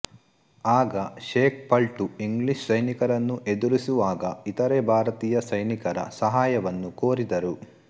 ಆಗ ಶೇಖ್ ಪಲ್ಟು ಇಂಗ್ಲಿಷ್ ಸೈನಿಕರನ್ನು ಎದುರಿಸುವಾಗ ಇತರೆ ಭಾರತೀಯ ಸೈನಿಕರ ಸಹಾಯವನ್ನು ಕೋರಿದರು